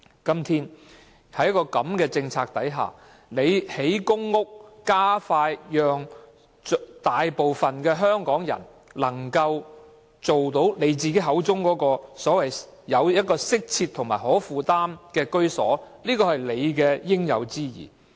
在現時的政策下，當局興建公屋，令大部分香港人盡快獲得局長口中"適切及可負擔的居所"，是他應有之義。